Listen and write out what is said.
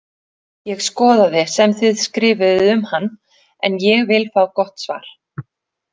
Ég skoðaði sem þið skrifuðuð um hann en ég vil fá gott svar!